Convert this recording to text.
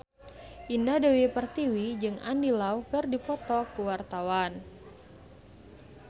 Indah Dewi Pertiwi jeung Andy Lau keur dipoto ku wartawan